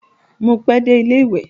Mo pe dé ilẹ ìwé.